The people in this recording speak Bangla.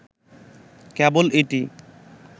কেবল এটি